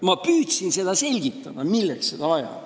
Ma püüdsin selgitada, milleks seda vaja on.